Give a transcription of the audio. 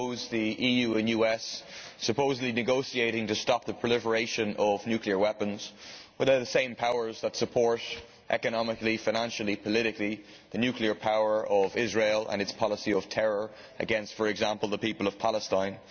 The EU and US supposedly negotiating to stop the proliferation of nuclear weapons, when they are the same powers that support economically, financially and politically the nuclear power of Israel and its policy of terror against, for example, the people of Palestine.